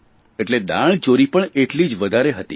એટલે દાણચોરી પણ એટલી જ વધારે હતી